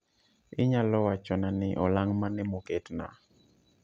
Inyalo wachona ni olang' mane moketna